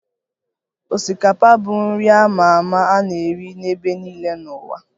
Osikapa bụ nri a ma ama a na-eri n'ebe niile n'ụwa